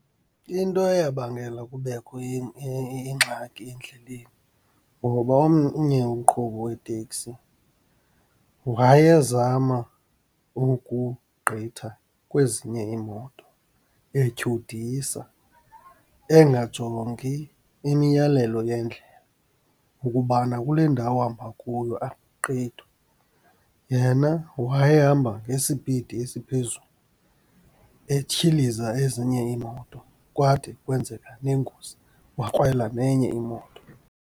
Into eyabangela kubekho ingxaki endleleni ngoba omnye umqhubi weteksi wayezama ukugqitha kwezinye iimoto, etyhudisa, engajongi imiyalelo yendlela ukubana kule ndawo uhamba kuyo akugqithwa. Yena wayehamba ngesipidi esiphezulu, etyhiliza ezinye iimoto, kwade kwenzeka nengozi, wakrwela nenye imoto.